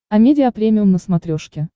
амедиа премиум на смотрешке